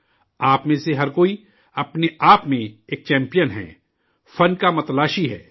آپ میں سے ہر کوئی، اپنے آپ میں، ایک چمپئن ہے، فن کا ماہر ہے